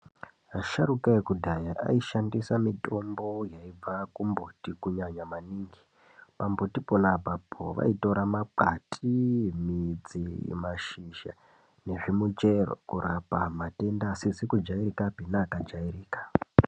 Asharukwa ekudhaya aishandisa mitombo yaibva kumbuti kunyanya maningi. Pambuti pona apapo vaitora makwati, midzi, mashizha nezvimuchero kurapa matenda asizi kujairikapi neakajairika.